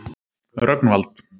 Rögnvald